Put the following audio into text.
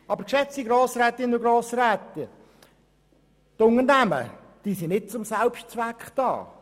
Aber die Unternehmen sind nicht zum Selbstzweck da.